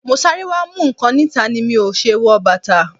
Mo sáré wá mú nǹkan níta ni mo o ṣe wọ bàtà.